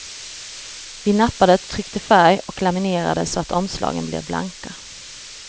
Vi nappade, tryckte färg och laminerade så att omslagen blev blanka.